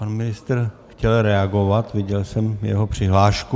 Pan ministr chtěl reagovat, viděl jsem jeho přihlášku.